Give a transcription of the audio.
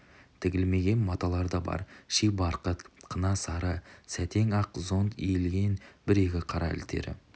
тігілмеген маталар да бар ши барқыт қына сары сәтең ақ зонт иленген бір-екі қара елтірі